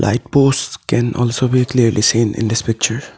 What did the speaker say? Light post can also be clearly seen in this picture.